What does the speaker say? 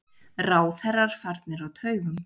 Ráðherrar farnir á taugum.